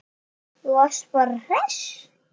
Þú varst bara hress.